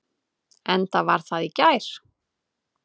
Enda var það í gær.